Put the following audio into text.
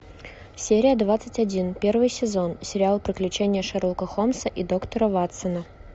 серия двадцать один первый сезон сериал приключения шерлока холмса и доктора ватсона